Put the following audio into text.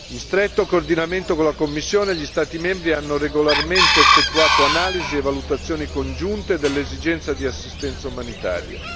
In stretto coordinamento con la Commissione, gli Stati membri hanno regolarmente effettuato analisi e valutazioni congiunte dell'esigenza di assistenza umanitaria.